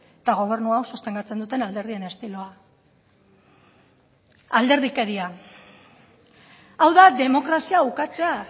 eta gobernu hau sostengatzen duten alderdien estiloa alderdikeria hau da demokrazia ukatzea